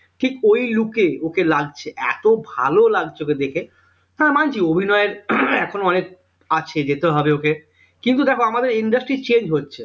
ঠিক ওই look এ ওকে লাগছে এত ভালো লাগছে ওকে দেখে হ্যাঁ মানছি অভিনয়ের এখনো অনেক আছে যেতে হবে ওকে কিন্তু দেখো আমাদের industry change হচ্ছে